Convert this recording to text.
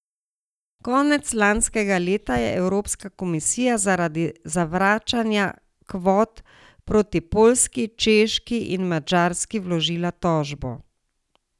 Konec lanskega leta je Evropska komisija zaradi zavračanja kvot proti Poljski, Češki in Madžarski vložila tožbo.